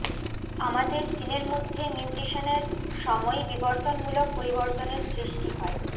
আমাদের জিনের মধ্যে মিউটেশনের সময় বিবর্তনমূলক পরিবর্তনের সৃষ্টি হয়